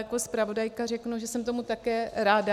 Jako zpravodajka řeknu, že jsem tomu také ráda.